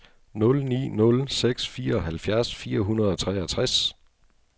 nul ni nul seks fireoghalvfjerds fire hundrede og treogtres